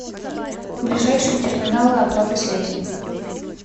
ближайшие терминалы оплаты связи